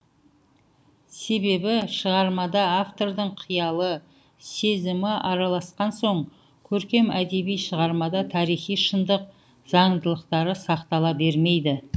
себебі шығармада автордың қиялы сезімі араласқан соң көркем әдеби шығармада тарихи шындық заңдылықтары сақтала бермейді